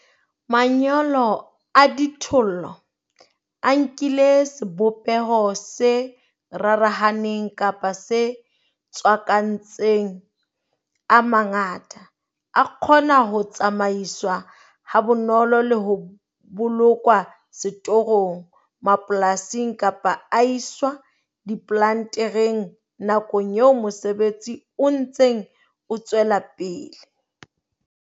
Manyolo a dithollo, a nkile sebopeho se rarahaneng kapa se tswakantseng a mangata, a kgona ho tsamaiswa ha bonolo le ho bolokwa setorong mapolasing kapa a iswa diplantereng nakong eo mosebetsi o ntseng o tswela pele.